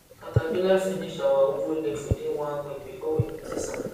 caterpillar finish our ugwu leaf within one week before we notice am